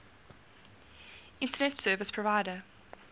internet service provider